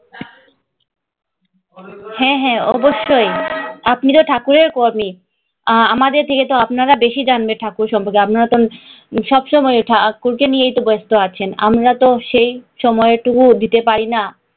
হ্যাঁ হ্যাঁ অবশ্যই। আপনি তো ঠাকুরের । আমাদের থেকে তো আপনারা বেশী জানবেন ঠাকুরের সম্পর্কে, আপনারা তো সব সময় ঠাকুরকে নিয়ে ব্যস্ত আছেন, আমরা তো সেই সময় টুকুও দিতে পারি না।